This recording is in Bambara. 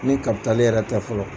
Ni kapitali yɛrɛ tɛ fɔlɔ.